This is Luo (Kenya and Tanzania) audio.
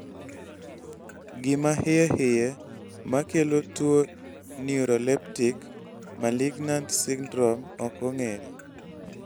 gima hiyehiye makelo tuwo neuroleptic malignant syndrome ok ong'ere